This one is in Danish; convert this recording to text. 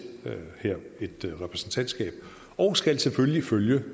et repræsentantskab og skal selvfølgelig følge